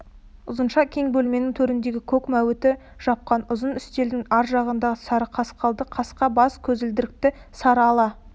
ұзынша кең бөлменің төріндегі көк мәуіті жапқан ұзын үстелдің ар жағында сары сақалды қасқа бас көзілдірікті сары ала